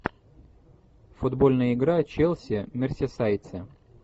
футбольная игра челси мерсисайдцы